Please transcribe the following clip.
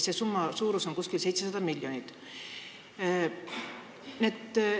Selle summa suurus on umbes 700 miljonit eurot.